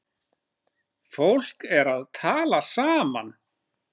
Fólk er að tala saman.